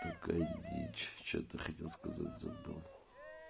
такая дичь что-то хотел сказать забыл